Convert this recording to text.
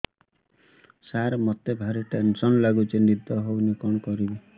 ସାର ମତେ ଭାରି ଟେନ୍ସନ୍ ଲାଗୁଚି ନିଦ ହଉନି କଣ କରିବି